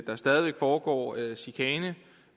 der stadig væk foregår chikane